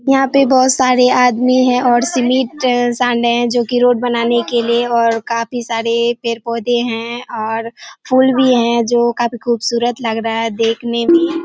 यहाँ पे बहुत सारे आदमी है और सीमिट सान रहे हैं जो की रोड बनाने के लिए और काफी सारे पेड़ पौधे हैं और फूल भी है जो काफी खूबसूरत लग रहा है देखने में--